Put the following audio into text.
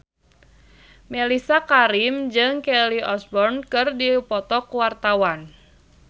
Mellisa Karim jeung Kelly Osbourne keur dipoto ku wartawan